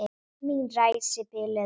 Mín ræsi biluðu ekki.